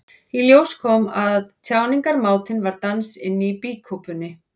Í ljós kom að tjáningarmátinn var dans inni í býkúpunni.